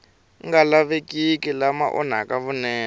nga lavekiki lama onhaka vunene